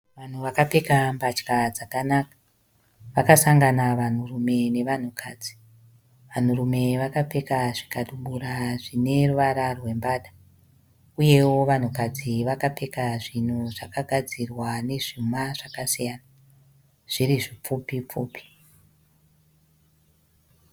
Vanhu vakapfeka mbatya dzakanaka vakasangana vanhu rume nevanhu kadzi vanhu rume vakapfeka zvikabudura zvineruvara rwembada uyewo vanhu kadzi vakapfeka zvinhu zvakagadzirwa nezvuma zvakasiyana zviri zvipfupi pfupi